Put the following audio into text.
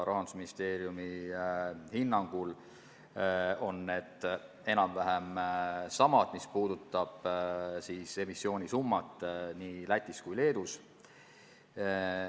Rahandusministeeriumi hinnangul on need enam-vähem samad – see puudutab siis emissiooni summasid nii Lätis kui Leedus.